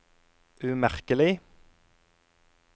umerkelig